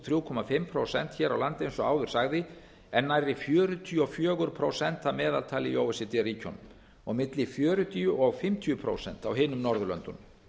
þrjú og hálft prósent hér á landi eins og áður sagði en nærri fjörutíu og fjögur prósent að meðaltali í o e c d ríkjunum og milli fjörutíu og fimmtíu prósent á hinum norðurlöndunum